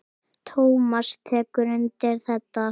Tómas tekur undir þetta.